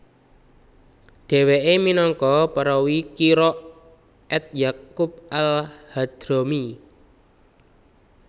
Dheweke minangka perawi qira at Ya qub al Hadhrami